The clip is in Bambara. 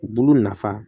Bulu nafa